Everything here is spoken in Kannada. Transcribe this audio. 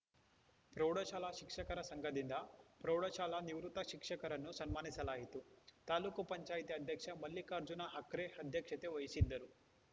ಪ್ರೌಢಶಾಲಾ ಶಿಕ್ಷಕರ ಸಂಘದಿಂದ ಪ್ರೌಢಶಾಲಾ ನಿವೃತ್ತ ಶಿಕ್ಷಕರನ್ನು ಸನ್ಮಾನಿಸಲಾಯಿತು ತಾಲೂಕ್ ಪಂಚಾಯತಿ ಅಧ್ಯಕ್ಷ ಮಲ್ಲಿಕಾರ್ಜುನ ಹಕ್ರೆ ಅಧ್ಯಕ್ಷತೆ ವಹಿಸಿದ್ದರು